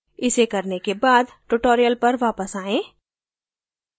इसे करने के बाद tutorial पर वापस आयें